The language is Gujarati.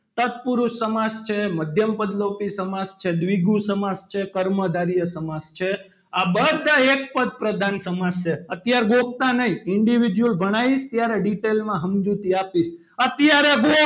તત્પુરુષ સમાસ છે, મધ્યમ પદ લોપી સમાસ છે, દ્વિગુ સમાસ છે, કર્મધારય સમાસ છે. આ બધા એક પદ પ્રધાન સમાસ છે. અત્યારે ગોખતા નહીં individual ભણાવીશ ત્યારે detail માં સમજૂતી આપીશ. અત્યારે